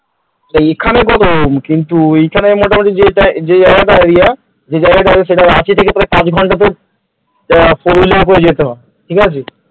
এইখানে গরম কিন্তু ওইখানে মোটামুটি যেই জায়গাটায় area যেই জায়গাটা সেটা রাঁচি থেকে প্রায় তোর পাঁচ ঘন্টা তো তোর four wheeler করে যেতে হয় ঠিক আছে?